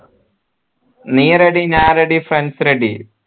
നീ ready ഞാൻ readyfriends ready